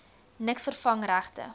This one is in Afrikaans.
niks vervang regte